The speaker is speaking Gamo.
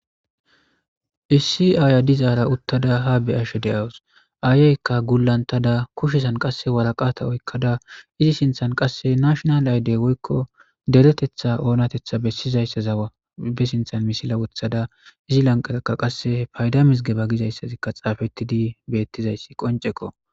Issi aaya dizaara uttada ha beyashe de7awus aayeykka gulantada kushesan qasse walaqata oykkada izi sinthan qasse nashnal aydey woykko deretetha oonatetha bessizayssazawa be sinthan misila wuthada izi lanqarakka qasse payda misgeba gizayssazikka xaafettidi beettizayssi qonceko.